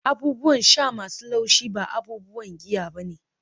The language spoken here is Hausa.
abubuwan sha masu laushi ba abubuwan giya ba ne